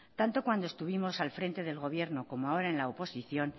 tanto cuando estuvimos al frente del gobierno como ahora en la oposición